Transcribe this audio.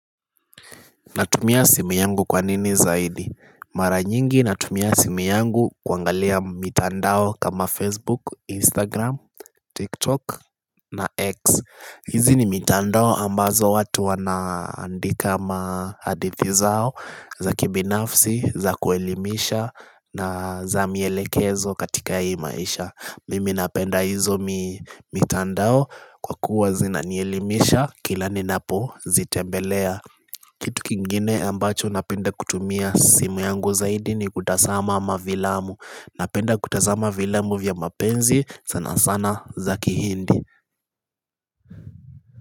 Natumia simu yangu kwa nini zaidi? Mara nyingi natumia simu yangu kuangalia mitandao kama Facebook, Instagram, TikTok na X. Hizi ni mitandao ambazo watu wanaandika mahadithi zao za kibinafsi, za kuelimisha na za mielekezo katika hii maisha. Mimi napenda hizo mitandao kwa kuwa zinanielimisha kila ninapo zitembelea Kitu kingine ambacho napenda kutumia simu yangu zaidi ni kutazama mafilamu Napenda kutazama mavilamu vya mapenzi sana sana zaki hindi.